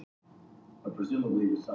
Akkilles nær henni aldrei.